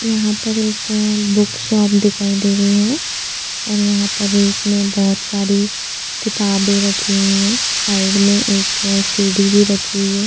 यहा पर एक बुक शॉप दिखाई दे रही है और यहाँ पर एक में बहुत सारी किताबें रखी हुई है साइड में एक सीडी भी रखी हुई है।